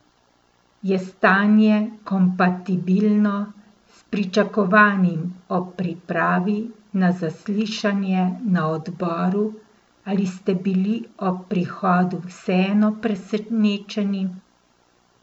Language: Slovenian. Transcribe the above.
Je stanje kompatibilno s pričakovanim ob pripravi na zaslišanje na odboru ali ste bili ob prihodu vseeno presenečeni?